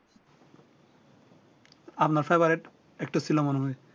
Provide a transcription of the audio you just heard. আমার favorite actor একটু ছিলো মনে হয়